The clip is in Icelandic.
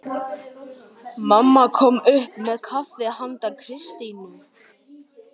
Mamma kom upp með kaffi handa Kristínu.